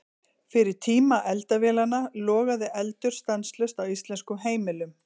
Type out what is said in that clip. Fyrir tíma eldavélanna logaði eldur stanslaust á íslenskum heimilum.